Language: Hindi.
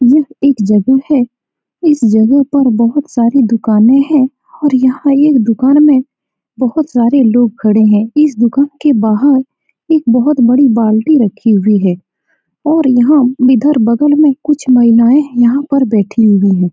यह एक जगह है इस जगह पर बहुत सारी दुकाने हैं और यहाँ एक दुकान में बहुत सारे लोग खड़े हैं इस दुकान के बाहर एक बहुत बड़ी बाल्टी रखी हुई है और यहाँ इधर बगल में कुछ महिलाये बैठी हुई हैं ।